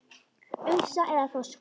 Ufsa eða þorska?